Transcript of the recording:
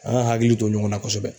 An ka hakili to ɲɔgɔn na kosɛbɛ